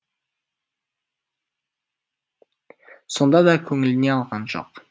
сонда да көңіліне алған жоқ